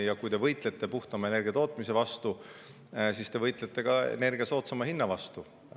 Ja kui te võitlete puhtama energiatootmise vastu, siis te võitlete ka energia soodsama hinna vastu.